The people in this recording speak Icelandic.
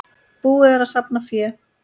Búið er að safna fé.